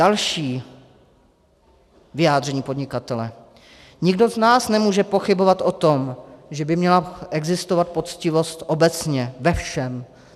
Další vyjádření podnikatele: Nikdo z nás nemůže pochybovat o tom, že by měla existovat poctivost obecně, ve všem.